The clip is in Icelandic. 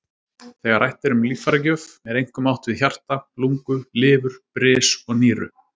Þegar rætt er um líffæragjöf er einkum átt við hjarta, lungu, lifur, bris og nýru.